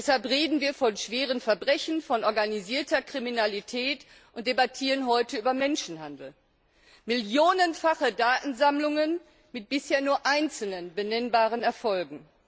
Deshalb reden wir von schweren Verbrechen, von organisierter Kriminalität und debattieren heute über Menschenhandel millionenfache Datensammlungen mit bisher nur einzelnen benennbaren Erfolgen.